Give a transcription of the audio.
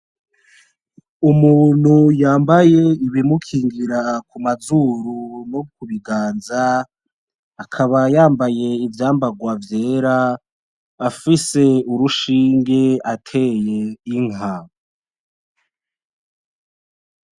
Umuntu yambaye ibimukingira kumazuru no kubiganza akaba yambaye ivyambarwa vyera afise urushinge ateye Inka .